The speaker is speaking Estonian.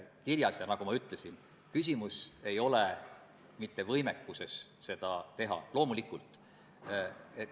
Kahjuks seda pole juhtunud, puuetega inimeste koda ei ole sellest eelnõust teadlik.